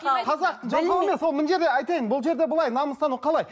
қазақ жалқау емес мына жерде айтайын бұл жерде былай намыстану қалай